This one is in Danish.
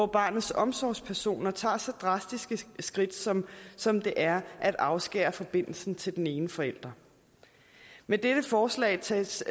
barnets omsorgspersoner tager så drastisk et skridt som som det er at afskære forbindelsen til den ene forælder med dette forslag tages